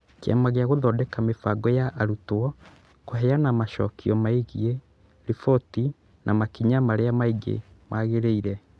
Kĩama gĩa gũthondeka mĩbango ya arutwo kũheana macokio megiĩ riboti na makinya marĩa mangĩ magĩrĩire